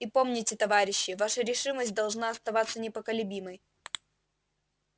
и помните товарищи ваша решимость должна оставаться непоколебимой